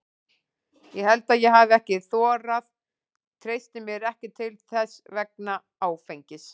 Ég held að ég hafi ekki þorað, treysti mér ekki til þess vegna áfengis.